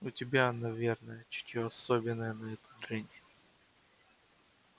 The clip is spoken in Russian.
у тебя наверное чутье особенное на эту дрянь